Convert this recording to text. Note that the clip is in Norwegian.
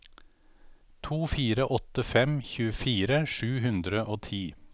to fire åtte fem tjuefire sju hundre og ti